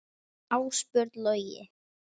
Ásbjörn Logi.